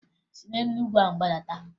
Si n'elu ugwu ahụ gbadata!